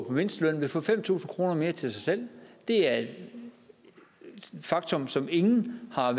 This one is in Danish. på mindsteløn vil få fem tusind kroner mere til sig selv det er et faktum som ingen har